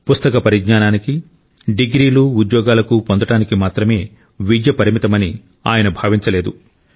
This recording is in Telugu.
పుస్తక పరిజ్ఞానికి డిగ్రీలు ఉద్యోగాలకు పొందడానికి మాత్రమే విద్య పరిమితమని ఆయన భావించలేదు